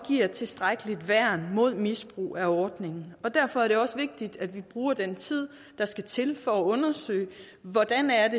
giver et tilstrækkeligt værn mod misbrug af ordningen derfor er det også vigtigt at vi bruger den tid der skal til for at undersøge hvordan